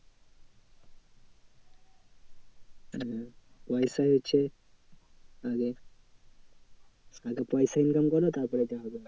হম পয়সাই হচ্ছে আগে আগে পয়সা income করো তারপরে দেখা যাবে।